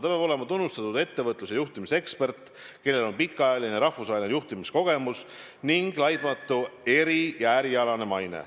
Ta peab olema tunnustatud ettevõtlus- ja juhtimisekspert, kellel on pikaajaline rahvusvaheline juhtimiskogemus ning laitmatu eri- ja ärialane maine.